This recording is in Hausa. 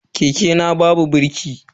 Keke na babu birki.